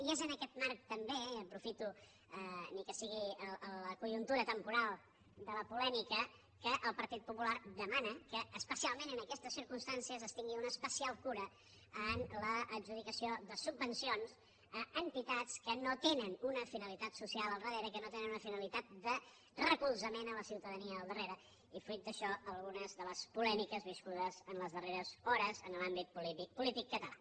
i és en aquest marc també i aprofito ni que sigui la conjuntura temporal de la polèmica que el partit popular demana que especialment en aquestes circumstàncies es tingui una especial cura en l’adjudicació de subvencions a entitats que no tenen una finalitat social al darrere que no tenen una finalitat de recolzament a la ciutadania al darrere i fruit d’això algunes de les polèmiques viscudes les darreres hores en l’àmbit polític català